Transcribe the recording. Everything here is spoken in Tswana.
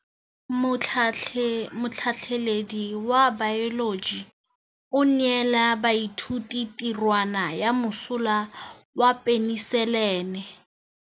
Motlhatlhaledi wa baeloji o neela baithuti tirwana ya mosola wa peniselene.